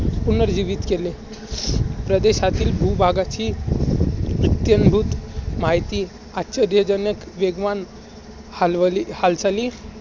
पुनर्जीवित केले. प्रदेशातील भूभागाची इत्यंभूत माहिती, आश्चर्यजनक वेगवान हालवली हालचाली